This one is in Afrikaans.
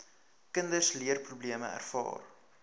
kinders leerprobleme ervaar